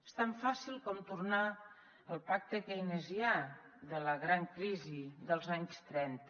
és tan fàcil com tornar al pacte keynesià de la gran crisi dels anys trenta